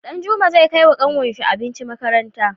Danjuma zai kai wa kanwar shi abinci makaranta